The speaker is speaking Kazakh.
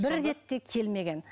бір рет те келмеген